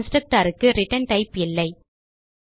Constructorக்கு return type இல்லை